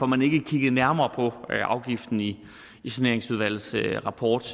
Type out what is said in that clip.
man ikke kiggede nærmere på afgiften i saneringsudvalgets rapport